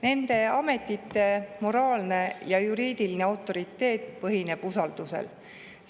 Nende ametite moraalne ja juriidiline autoriteet põhineb usaldusel.